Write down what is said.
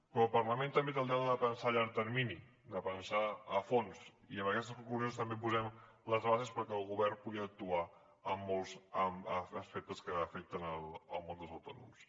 però el parlament també té el deure de pensar a llarg termini de pensar a fons i amb aquestes conclusions també posem les bases perquè el govern pugui actuar en molts aspectes que afecten el món dels autònoms